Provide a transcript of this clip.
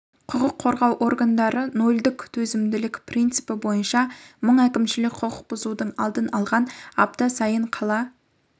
құқық қорғау органдары нөлдік төзімділік принципі бойынша мың әкімшілік құқық бұзудың алдын алған апта сайын қала